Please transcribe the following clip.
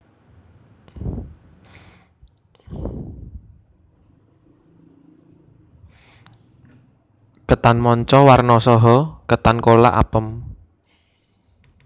Ketan manca warna saha ketan kolak apem